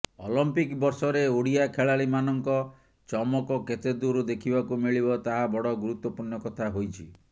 Olympic ବର୍ଷରେ ଓଡ଼ିଆ ଖେଳାଳିମାନଙ୍କ ଚମକ କେତେ ଦୂର ଦେଖିବାକୁ ମିଳିବ ତାହା ବଡ଼ ଗୁରୁତ୍ୱପୂର୍ଣ୍ଣ କଥା ହୋଇଛି